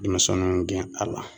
Denmisɛnninw gɛn a la